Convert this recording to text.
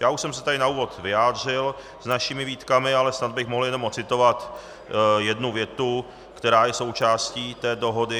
Já už jsem se tady na úvod vyjádřil s našimi výtkami, ale snad bych mohl jenom ocitovat jednu větu, která je součástí té dohody.